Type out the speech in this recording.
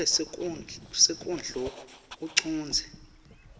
ngabe sonkondlo ucondze